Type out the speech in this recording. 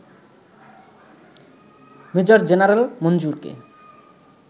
major general মঞ্জুরকে